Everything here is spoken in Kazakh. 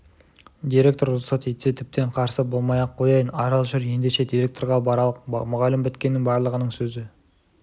директор рұқсат етсе тіптен қарсы болмай-ақ қояйын арал жүр ендеше директорға баралық мұғалім біткеннің барлығының сөзі